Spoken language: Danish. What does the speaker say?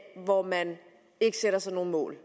hvor man ikke sætter sig nogen mål